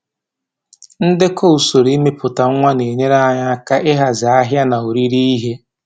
Ndekọ usoro imepụta nwa na-enyere anyị aka ịhazi ahịa na oriri ihe